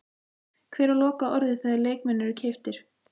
Hver á lokaorðið þegar leikmenn eru keyptir?